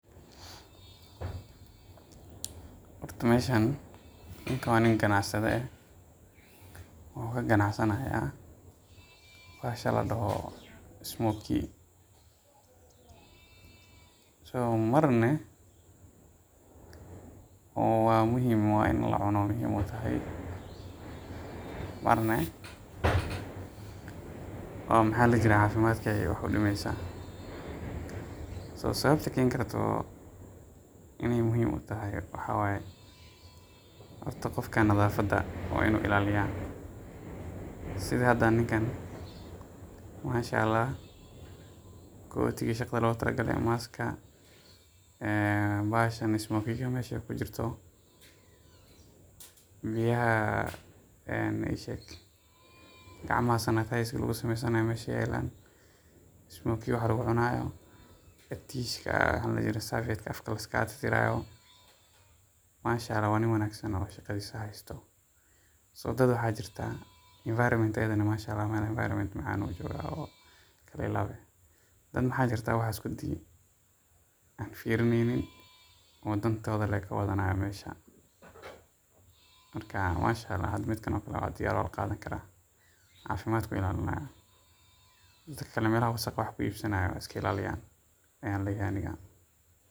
Horta meeshan, ninkan waa nin ganacsada eh, wuxuu ka ganac sani haaya bahasha ladoho Smokie ,marna waa muhiim in la cuno, marna waa cafimaadka ayeey wax udimeysa, sababta keeni karto inaay muhiim utahay waxaa waye horta qofka nadafada waa inuu ilaaliya, sida hada ninkaan masha allah, kootiga shaqada loogu tala gale mask bahasha meesha aay ku jirto, biyaha gacmaha sanitizer lagu sameysanayo meesha ayeey yaalan, waxa lagu cunaayo, tiishka afka liskaaga tirtiraayo, masha allah waa nin wanagsan oo shaqadiisa haysto ,dad waxaa jirta waxaas kudi aan fiirineynin, masha allah midkan oo kale waa la qadan kara, dadka meelaha wasaqda wax ku iibsanaayo haiska ilaaliyaan ayaan leyahay aniga.